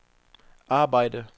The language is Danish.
arbejde